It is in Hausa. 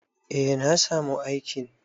Eh na samu aikin.